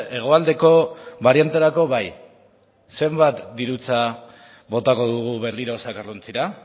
hegoaldeko barianterako bai zenbat dirutza botako dugu berriro zakarrontzira